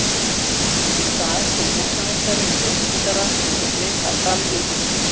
Í dag kom húsameistari með ljósmyndara sem tók mynd af framhlið hússins.